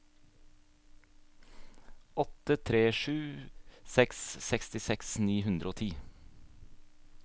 åtte tre sju seks sekstiseks ni hundre og ti